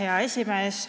Hea esimees!